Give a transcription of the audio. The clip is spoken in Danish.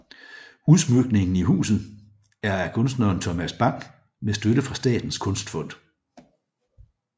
Udsmykningen i huset er af kunstneren Thomas Bang med støtte fra statens kunstfond